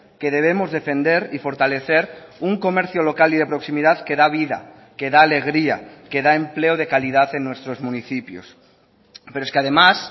que debemos defender y fortalecer un comercio local y de proximidad que da vida que da alegría que da empleo de calidad en nuestros municipios pero es que además